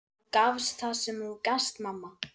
Þú gafst það sem þú gast, mamma.